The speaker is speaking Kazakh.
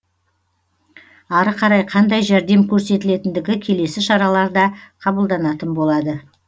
ары қарай қандай жәрдем көрсетілетіндігі келесі шараларда қабылданатын болады